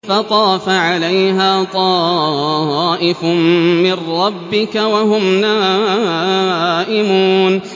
فَطَافَ عَلَيْهَا طَائِفٌ مِّن رَّبِّكَ وَهُمْ نَائِمُونَ